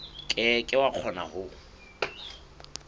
ke ke wa kgona ho